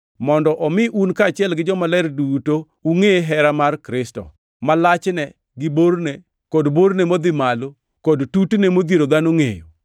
mondo omi un kaachiel gi jomaler duto ungʼe hera mar Kristo, ma lachne, gi borne, kod borne modhi malo kod tutne odhiero dhano ngʼeyo.